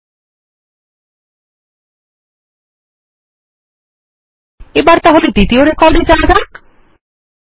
ল্টপাউসেগ্ট এবার তাহলে দ্বিতীয় রেকর্ড এ যাওয়া যাক